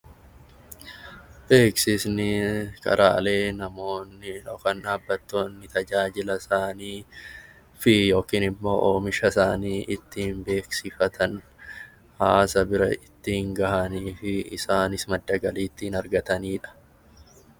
Beeksisni karaalee namoonni yookiin dhaabbanni tajaajila isaa fi oomisha isaanii ittiin beeksifatan hawaasa bira ittiin gahanii fi isaanis madda galii ittiin argatanidha.